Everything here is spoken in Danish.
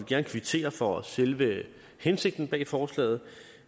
gerne kvittere for selve hensigten bag forslaget